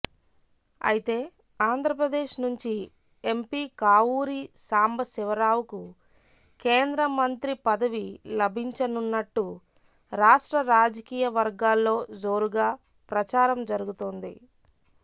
అయితే ఆంధ్రప్రదేశ్ నుంచి ఎంపీ కావూరి సాంబశివరావుకు కేంద్ర మంత్రి పదవి లభించనున్నట్టు రాష్ట్ర రాజకీయవర్గాల్లో జోరుగా ప్రచారం జరుగుతోంది